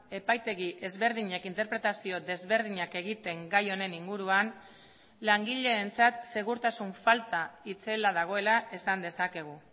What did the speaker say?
epaitegi ezberdinek interpretazio desberdinak egiten gai honen inguruan langileentzat segurtasun falta itzela dagoela esan dezakegu